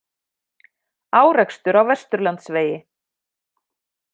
Árekstur á Vesturlandsvegi